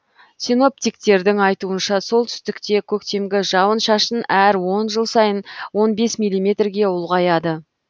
синоптиктердің айтуынша солтүстікте көктемгі жауын шашын әр он жыл сайын он бес милиметрге ұлғаяды